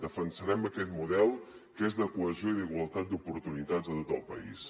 defensarem aquest model que és de cohesió i d’igualtat d’oportunitats a tot el país